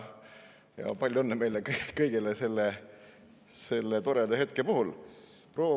Palju õnne meile kõigile selle toreda hetke puhul!